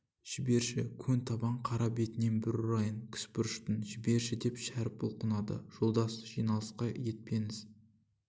жіберші көн табан қара бетінен бір ұрайын кіспұрыштың жіберші деп шәріп бұлқынады жолдас жиналысқа етпеңіз